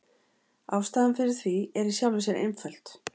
Ástæðan fyrir því er í sjálfu sér einföld.